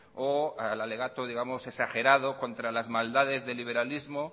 o al alegato digamos exagerado contra las maldades de liberalismo